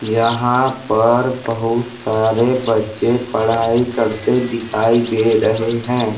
यहाँ पर बहुत सारे बच्चे पढ़ाई करते दिखाई दे रहे हैं ।